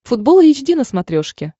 футбол эйч ди на смотрешке